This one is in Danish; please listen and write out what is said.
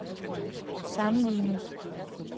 sammenlignet